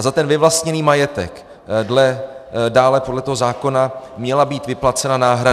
A za ten vyvlastněný majetek dále podle toho zákona měla být vyplacena náhrada.